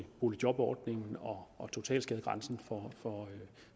boligjobordningen og totalskadegrænsen for